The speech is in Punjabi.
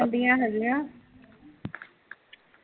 ਗੱਡੀਆ ਤਾਂ ਵਧੇਰੀਆ ਜਾਂਦੀਆ ਹੈਗੀਆ